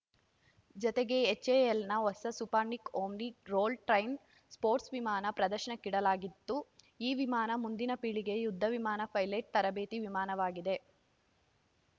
ಜತೆಗೆ ಎಚ್‌ಎಎಲ್‌ನ ಹೊಸ ಸೂಪರ್‌ನಿಕ್‌ ಓಮ್ನಿ ರೋಲ್‌ ಟ್ರೈಮ್ ಸ್ಪೋರ್ಟ್ಸ್ ವಿಮಾನ ಪ್ರದರ್ಶನಕ್ಕಿಡಲಾಗುತ್ತಿದ್ದು ಈ ವಿಮಾನ ಮುಂದಿನ ಪೀಳಿಗೆಯ ಯುದ್ಧ ವಿಮಾನ ಪೈಲಟ್‌ ತರಬೇತಿ ವಿಮಾನವಾಗಿದೆ